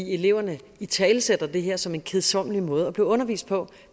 eleverne italesætter det her som en kedsommelig måde at blive undervist på